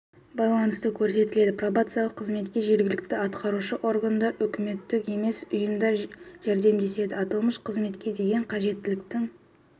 байланысты көрсетіледі пробациялық қызметке жергілікті атқарушы органдар үкіметтік емес ұйымдар жәрдемдеседі аталмыш қызметке деген қажеттіліктің